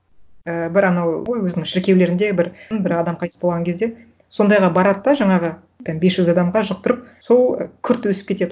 і бір анау ғой өзінің шіркеулерінде бір м бір адам қайтыс болған кезде сондайға барады да жаңағы там бес жүз адамға жұқтырып сол күрт өсіп кетеді